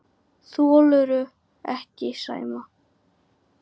Þolirðu ekki Sæma?